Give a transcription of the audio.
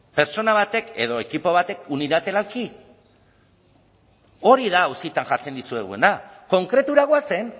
pertsona batek edo ekipo batek unilateralki hori da auzitan jartzen dizueguna konkretura goazen